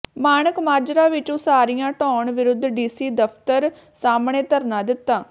ਮਾਣਕ ਮਾਜਰਾ ਵਿੱਚ ਉਸਾਰੀਆਂ ਢਾਹੁਣ ਵਿਰੁੱਧ ਡੀ ਸੀ ਦਫਤਰ ਸਾਮ੍ਹਣੇ ਧਰਨਾ ਦਿੱਤਾ